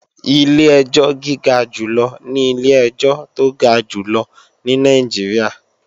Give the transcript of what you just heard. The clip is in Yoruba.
Ilé ẹjọ́ gíga jù lọ ní ilé ẹjọ́ tó ga jù lọ ní Nàìjíríà